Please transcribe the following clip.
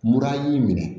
Mura y'i minɛ